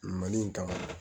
Mali in kama